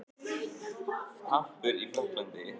Hampur í Frakklandi.